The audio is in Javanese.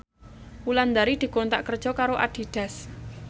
Wulandari dikontrak kerja karo Adidas